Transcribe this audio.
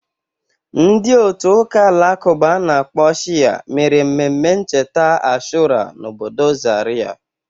Ndị otu ụka Alakụba a na-akpọ Shia mere mmemme ncheta Ashura n'obodo Zarịa.